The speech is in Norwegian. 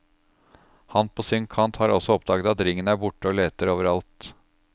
Han på sin kant har også oppdaget at ringen er borte, og leter overalt.